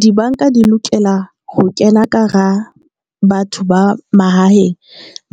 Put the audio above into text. Dibanka di lokela ho kena ka hara batho ba mahaeng,